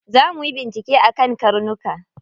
Za muyi bincike akan karnuka.